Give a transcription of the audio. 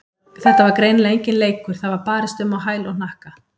Þetta var greinilega enginn leikur, það var barist um á hæl og hnakka.